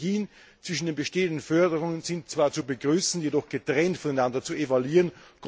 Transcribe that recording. Synergien zwischen den bestehenden Förderungen sind zwar zu begrüßen, jedoch getrennt voneinander zu evaluieren.